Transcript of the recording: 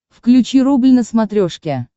включи рубль на смотрешке